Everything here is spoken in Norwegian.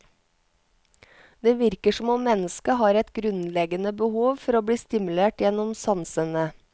Det virker som om mennesket har et grunnleggende behov for å bli stimulert gjennom sansene.